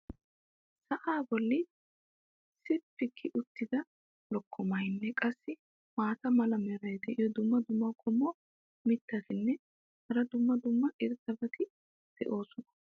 sa"aa boli sippi gi uttida lokkomaynne qassi maata mala meray diyo dumma dumma qommo mitattinne hara dumma dumma irxxabati de'oosona.